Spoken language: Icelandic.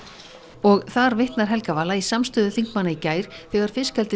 og þar vitnar Helga Vala í samstöðu þingmanna í gær þegar